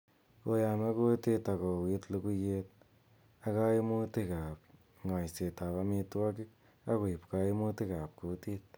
ko yame kutit ak ko uit luguiyet ak kaimutig ab ng'aiset ab amitwogig ak koib kaimutig ab kutit